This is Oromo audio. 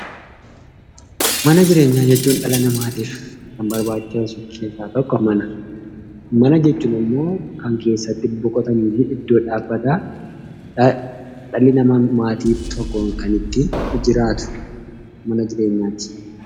Mana jireenyaa jechuun dhala namaatiif kan barbaachisan keessaa tokkodha. Mana jechuun immoo kan keessatti boqotanii fi iddoo dhaabbataa ta'e dhalli namaa keessa jiraatudha.